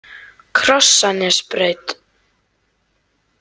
Krossanesbraut